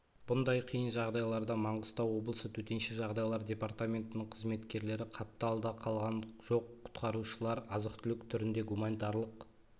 бұндай қиын жағдайларда маңғыстау облысы төтенше жағдайлар департаментінің қызметкерлері қапталда қалған жоқ құтқарушылар азық-түлік түрінде гуманитарлық